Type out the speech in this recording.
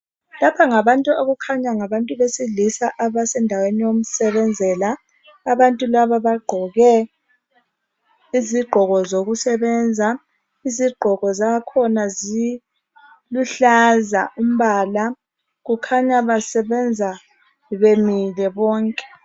Lapha ngabantu okukhanya ngabantu besilisa. Abasendaweni yokusebenzela, Abantu bakhona bagqoke izigqoko zokusebenza. Izigqoko zakhona ziluhlaza, umbala. Kukhanya basebenza bemile bonke,